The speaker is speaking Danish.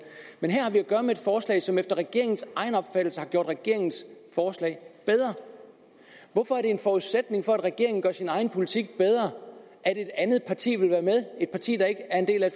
men her har vi at gøre med et forslag som efter regeringens egen opfattelse har gjort regeringens forslag hvorfor er det en forudsætning for at regeringen gør sin egen politik bedre at et andet parti vil være med et parti der ikke er en del af